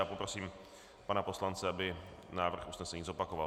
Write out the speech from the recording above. Já poprosím pana poslance, aby návrh usnesení zopakoval.